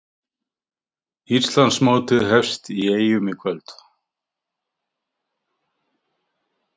Íslandsmótið hefst í Eyjum í kvöld